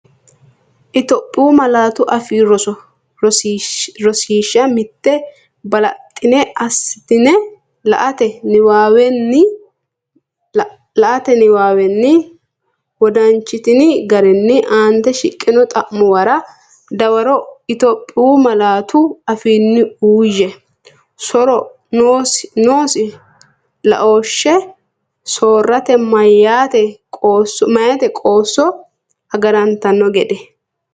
Itophiyu Malaatu Afii Roso Rosiishsha Mite Balaxxine assitine late niwaawenni wodanchitini garinni aant shiqqino xa’muwara dawaro Itophiyu malaatu afiinni uuyye, so’ro noosi laooshshe soorrate meyaate qoosso agarantanno gede?